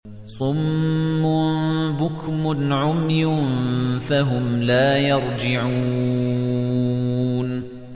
صُمٌّ بُكْمٌ عُمْيٌ فَهُمْ لَا يَرْجِعُونَ